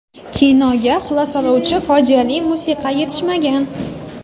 Kinoga xulosalovchi fojiali musiqa yetishmagan.